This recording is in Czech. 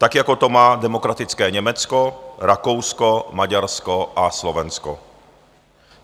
Tak jako to má demokratické Německo, Rakousko, Maďarsko a Slovensko.